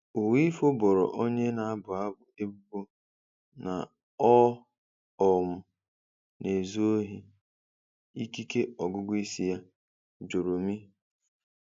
Uwaifo boro onye na-abụ abụ ebubo na ọ um 'na-ezu ohi' ikike ọgụgụ isi ya, 'Joromi'.